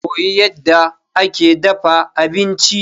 Koyi yadda ake dafa abinci.